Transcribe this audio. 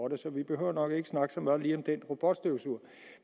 det så vi behøver nok ikke snakke så meget lige om den robotstøvsuger